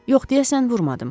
Yox, deyəsən vurmadım.